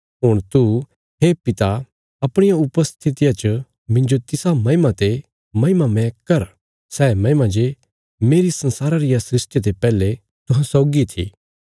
हुण तू हे पिता अपणिया उपस्थितिया च मिन्जो तिसा महिमा ते महिमामय कर सै महिमा जे मेरी संसारा रिया सृष्टिया ते पैहले तुहां सौगी थी